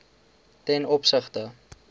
ten opsigte